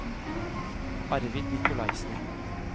Arvid Nikolaisen